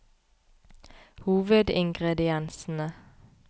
hovedingrediensene